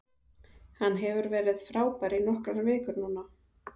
Hann hefur verið frábær í nokkrar vikur núna.